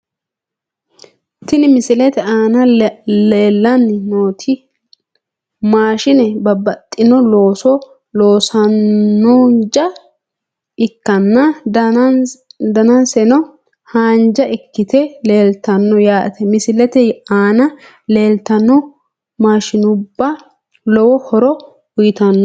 Tini misilete aan leelani nooti maashine babaxino looso loosanoja ikanna danaseno haanja ikite leeltano yaate misilete aana leeltano maashinubba lowo horo uyitano.